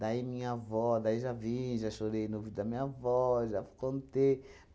Daí minha avó, daí já vim, já chorei no ouvido da minha avó, já contei.